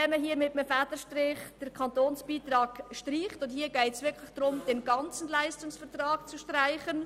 Hier geht es wirklich darum, den ganzen Leistungsvertrag zu streichen;